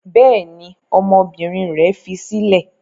Bẹ́ẹ̀ ni, ọmọbìnrin rẹ̀ fi sílẹ̀.